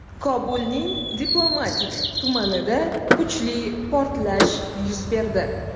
Kobulning diplomatik tumanida kuchli portlash yuz berdi.